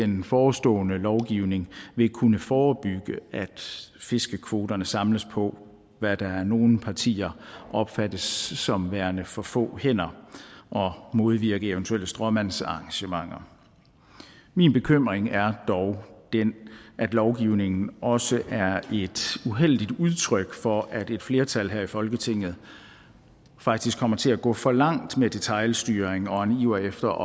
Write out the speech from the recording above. den forestående lovgivning vil kunne forebygge at fiskekvoterne samles på hvad der af nogle partier opfattes som værende for få hænder og modvirke eventuelle stråmandsarrangementer min bekymring er dog den at lovgivningen også er et uheldigt udtryk for at et flertal her i folketinget faktisk kommer til at gå for langt med detailstyring og en iver efter